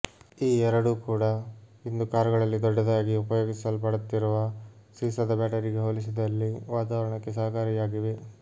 ಈ ಎರಡೂ ಕೂಡ ಇಂದು ಕಾರುಗಳಲ್ಲಿ ದೊಡ್ಡದಾಗಿ ಉಪಯೋಗಿಸಲ್ಪಡುತ್ತಿರುವ ಸೀಸದ ಬ್ಯಾಟರಿಗೆ ಹೋಲಿಸಿದಲ್ಲಿ ವಾತಾವರಣಕ್ಕೆ ಸಹಕಾರಿಯಾಗಿವೆ